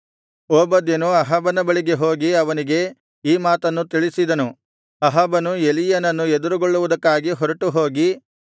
ಓಬದ್ಯನು ಅಹಾಬನ ಬಳಿಗೆ ಹೋಗಿ ಅವನಿಗೆ ಈ ಮಾತನ್ನು ತಿಳಿಸಿದನು ಅಹಾಬನು ಎಲೀಯನನ್ನು ಎದುರುಗೊಳ್ಳುವುದಕ್ಕಾಗಿ ಹೊರಟುಹೋಗಿ